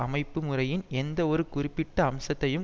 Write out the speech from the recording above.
அமைப்பு முறையின் எந்த ஒரு குறிப்பிட்ட அம்சத்தையும்